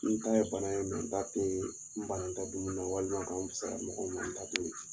N ta ye bana ye n ta tɛ n bana n da dumuni na walima ka n wusaya mɔgɔw ma n ta to ye